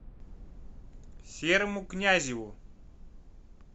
серому князеву